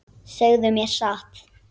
Segðu mér satt.